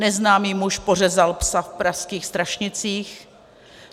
Neznámý muž pořezal psa v pražských Strašnicích.